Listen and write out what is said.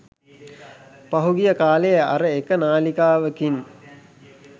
පහුගිය කාලේ අර එක නාලිකාවකින්